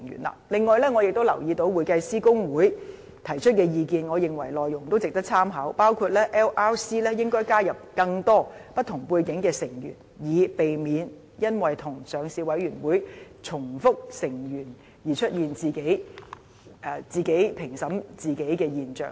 此外，我亦留意到香港會計師公會提出的意見，並認為其內容值得參考，包括 LRC 應該加入更多不同背景的成員，以避免因與上市委員會重複成員而出現自己評審自己的現象。